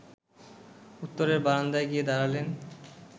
উত্তরের বারান্দায় গিয়ে দাঁড়ালেন